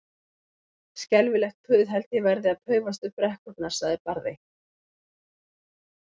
Skelfilegt puð held ég verði að paufast upp brekkurnar, sagði Barði.